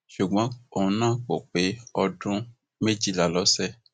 ṣùgbọn òun náà kò pé ọdún méjìlá ló ṣe